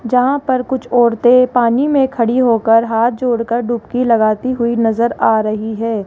जहां पर कुछ औरतें पानी में खड़ी होकर हाथ जोड़कर डुबकी लगाती हुई नजर आ रही है।